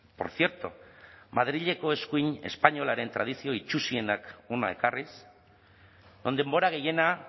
por cierto madrileko eskuin espainiolaren tradizio itsusienak hona ekarriz denbora gehiena